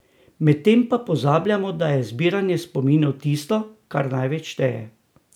Medtem pa pozabljamo, da je zbiranje spominov tisto, kar največ šteje!